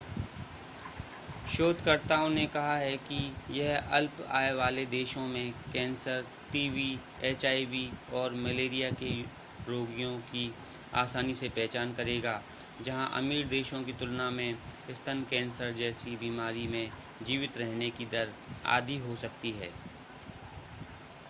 शोधकर्ताओं ने कहा है कि यह अल्प आय वाले देशों में कैंसर टीवी एचआईवी और मलेरिया के रोगियों की आसानी से पहचान करेगा जहां अमीर देशों की तुलना में स्तन कैंसर जैसी बीमारी में जीवित रहने की दर आधी हो सकती है